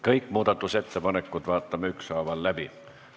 Kõik muudatusettepanekud vaatame ükshaaval läbi.